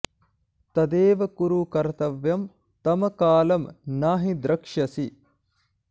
तदैव कुरु कर्तव्यं तं कालं न हि द्रक्ष्यसि